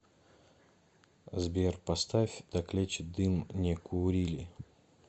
сбер поставь так лечит дым не курили